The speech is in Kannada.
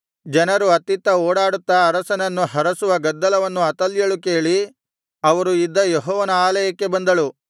ಜನರು ಅತ್ತಿತ್ತ ಓಡಾಡುತ್ತಾ ಅರಸನನ್ನು ಹರಸುವ ಗದ್ದಲವನ್ನು ಅತಲ್ಯಳು ಕೇಳಿ ಅವರು ಇದ್ದ ಯೆಹೋವನ ಆಲಯಕ್ಕೆ ಬಂದಳು